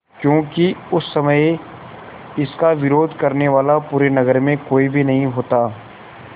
क्योंकि उस समय इसका विरोध करने वाला पूरे नगर में कोई भी नहीं होता